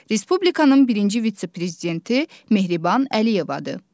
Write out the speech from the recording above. Respublikanın birinci vitse-prezidenti Mehriban Əliyevadır.